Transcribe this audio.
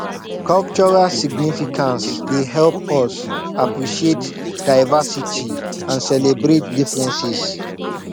cultural significance dey help us appreciate diversity and celebrate differences